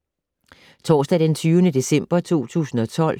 Torsdag d. 20. december 2012